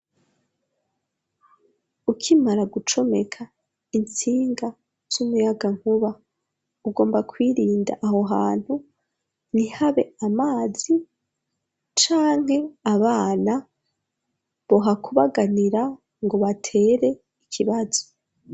Ukimara gucomeka intsinga z'umuyaga nkuba ugomba kwirinda aho hantu ntihabe amazi canke abana bohakubaganira ngo batere ikibazo.